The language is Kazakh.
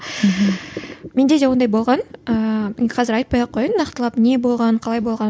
менде де ондай болған ыыы енді қазір айтпай ақ қояйын нақтылап не болғанын қалай болғанын